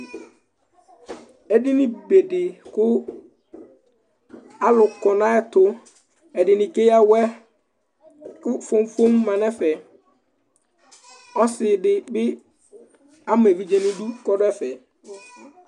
edini be dɩ kʊ alʊ kɔ nʊ ayɛtu ɛdɩnɩ keya awɛ, kʊ fomfom ma nʊ ɛfɛ ,ɔsidɩ ama evidze nʊ idu kʊ ɔdʊ ɛfɛ